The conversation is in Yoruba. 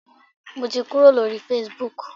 Mo ti kúrò lórí Facebook.